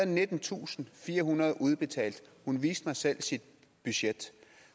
nittentusinde og firehundrede kroner udbetalt hun viste mig selv sit budget